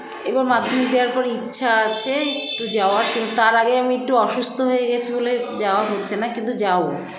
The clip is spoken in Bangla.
এবার মাধ্যমিক দেওয়ার পরে ইচ্ছা আছে একটু যাওয়ার কিন্তু তার আগে আমি একটু অসুস্থ হয়ে গেছি বলে যাওয়া হচ্ছেনা কিন্তু যাবো